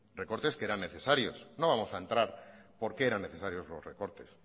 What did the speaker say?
recortes que eran necesarios no vamos a entrar por qué eran necesarios los recortes